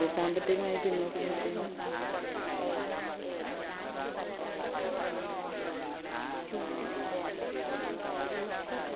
സാമ്പത്തികമായി പിന്നോക്കം നിൽക്കുന്ന